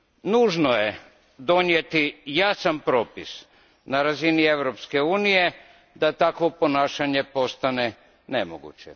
Nužno je donijeti jasan propis na razini Europske unije da takvo ponašanje postane nemoguće.